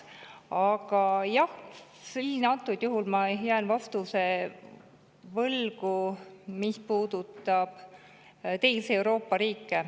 Aga jah, jään vastuse võlgu, mis puudutab teisi Euroopa riike.